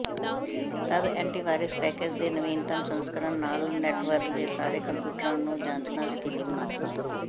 ਤਦ antivirus package ਦੇ ਨਵੀਨਤਮ ਸੰਸਕਰਣ ਨਾਲ ਨੈਟਵਰਕ ਤੇ ਸਾਰੇ ਕੰਪਿਊਟਰਾਂ ਨੂੰ ਜਾਂਚਣਾ ਯਕੀਨੀ ਬਣਾਓ